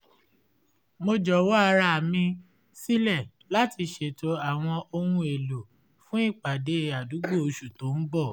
mo jọ̀wọ́ ara mi sílẹ láti ṣètò àwọn ohun èlò fún ìpàdé àdúgbò oṣù tó ń bọ̀